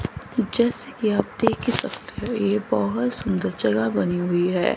जैसे कि आप देख ही सकते है ये बहोत सुंदर जगह बनी हुई है।